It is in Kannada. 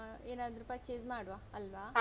ಹಾ ಏನಾದ್ರು purchase ಮಾಡುವ ಅಲ್ವಾ.